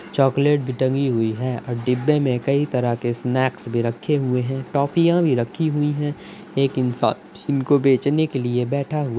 Chocolate टंगी हुई है। डिब्बे मे कई तरह के सनैक्स भी रखें हुए हैं। टॉफीयां भी रखी हुई हैं। एक इंसान इनको बेचने के लिए बैठा हुआ --